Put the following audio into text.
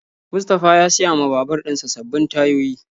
Mustapha ya siya ma babur dinsa sabbin tayoyi.